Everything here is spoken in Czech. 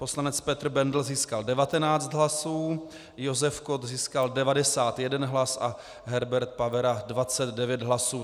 Poslanec Petr Bendl získal 19 hlasů, Josef Kott získal 91 hlas a Herbert Pavera 29 hlasů.